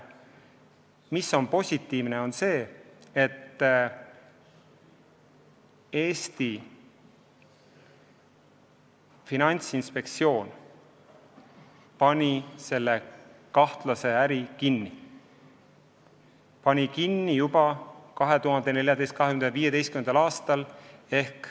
Samas positiivne on see, et Eesti Finantsinspektsioon pani selle kahtlase äri kinni, ja pani kinni juba 2014.–2015. aastal.